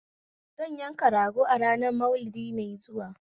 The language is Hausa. Zan yanka rago a ranar Maulidi mai zuwa